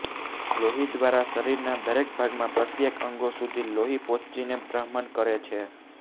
લોહી દ્વારા શરીરના દરેક ભાગમાં પ્રત્યેક અંગો સુધી લોહી પહોંચીને બ્રહ્મણ કરે છે